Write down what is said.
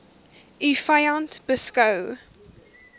u vyand beskou